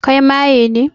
Kai maye ne?